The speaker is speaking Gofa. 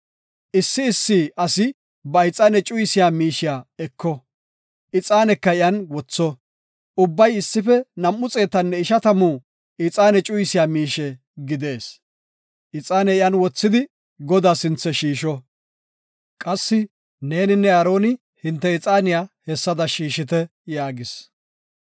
Issi issi asi ba ixaane cuyisiya miishiya eko; ixaaneka iyan wotho; ubbay issife nam7u xeetanne ishatamu ixaane cuyisiya miishe gidees; ixaane iyan wothidi Godaa sinthe shiisho. Neeninne Aaroni hinte ixaaniya hessada shiishite” yaagis.